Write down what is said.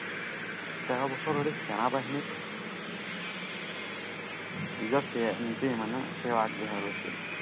তেৰ বছৰলৈ সেনা বাহিনীত নিজৰ সেই মানে সেৱা আগবঢ়াই গৈছিল।